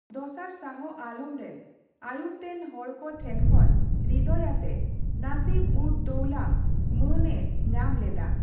ᱫᱚᱥᱟᱨ ᱥᱟᱦᱚ ᱟᱞᱚᱢ ᱨᱮᱱ ᱟᱭᱩᱨᱛᱮᱱ ᱦᱚᱲ ᱠᱚ ᱴᱷᱮᱱᱠᱷᱚᱱ ᱨᱤᱫᱚᱭ ᱟᱛᱮ 'ᱱᱟᱥᱤᱵᱼᱩᱫᱽᱼᱫᱳᱭᱞᱟ, ᱢᱟᱹᱱ ᱮ ᱧᱟᱢ ᱞᱮᱫᱟ ᱾